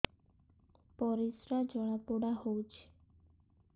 ପରିସ୍ରା ଜଳାପୋଡା ହଉଛି